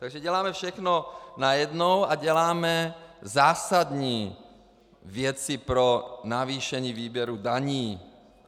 Takže děláme všechno najednou a děláme zásadní věci pro navýšení výběru daní.